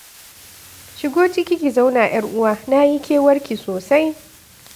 Shigo ciki ki zauna ƴar uwa na yi kewarki sosai.